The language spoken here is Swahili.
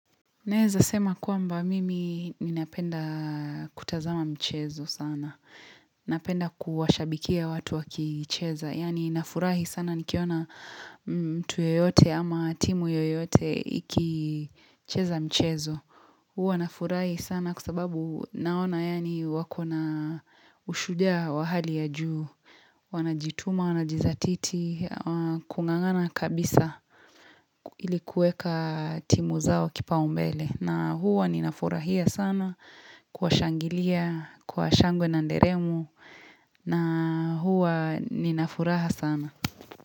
Naeza sema kwamba mimi ninapenda kutazama mchezo sana. Napenda kuwashabikia watu wakicheza. Yaani nafurahi sana nikiona mtu yeyote ama timu yoyote ikicheza mchezo. Huwa nafurahi sana kwa sababu naona yaani wako na ushujaa wa hali ya juu. Wanajituma, wanajizatiti, kungangana kabisa ilikuweka timu zao kipaoumbele. Na huwa ninafurahia sana kuwashangilia, kwa shangwe na nderemo na huwa ninafuraha sana.